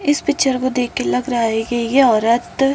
इस पिक्चर को देख के लग रहा है की ये औरत --